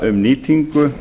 um nýtingu